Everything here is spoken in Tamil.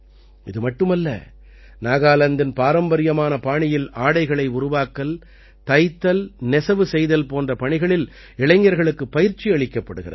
இது மட்டுமல்ல நாகாலாந்தின் பாரம்பரியமான பாணியில் ஆடைகளை உருவாக்கல் தைத்தல்நெசவு செய்தல் போன்ற பணிகளில் இளைஞர்களுக்குப் பயிற்சி அளிக்கப்படுகிறது